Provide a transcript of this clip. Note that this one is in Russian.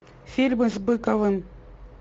фильмы с быковым